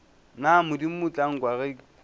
na modimo tla nkwa ge